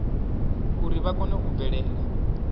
uri vha kone u bvela